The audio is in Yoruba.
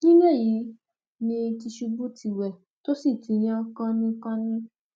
nínú èyí ni tìṣubù ti wẹ tó sì ti yan kàìnínkànín